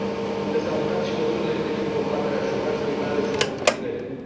Sunt de salutat și măsurile privind combaterea șomajului, mai ales în rândul tinerilor.